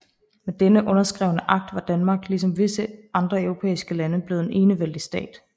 Med denne underskrevne akt var Danmark ligesom visse andre europæiske lande blevet en enevældig stat